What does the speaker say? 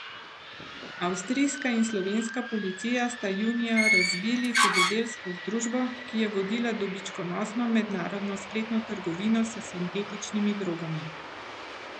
Avstrijska in slovenska policija sta junija razbili hudodelsko združbo, ki je vodila dobičkonosno mednarodno spletno trgovino s sintetičnimi drogami.